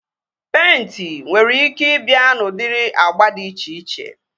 Peịnti nwere ike ị bịa n'udiri agba dị iche iche